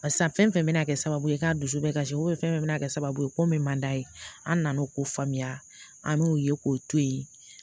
Barisa fɛn fɛn bɛna kɛ sababu ye k'a dusu bɛɛ kasi fɛn fɛn bɛna kɛ sababu ye ko min man d'a ye an nana ko faamuya an m'u ye k'o to yen